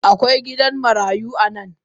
Akwai gidan marayu a nan?